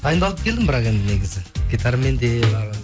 дайындалып келдім бірақ енді негізі гитарамен де